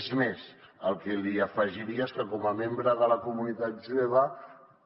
és més el que li afegiria és que com a membre de la comunitat jueva